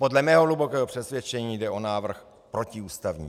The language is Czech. Podle mého hlubokého přesvědčení jde o návrh protiústavní.